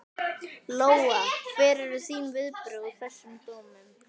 Lóa: Hver eru þín viðbrögð við þessum dómum?